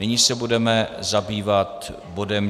Nyní se budeme zabývat bodem